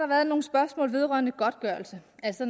været nogle spørgsmål vedrørende godtgørelse altså